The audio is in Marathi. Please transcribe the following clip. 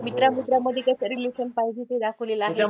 मित्रां मित्रांमध्ये कसं relation पाहिजे ते दाखवलेलं आहे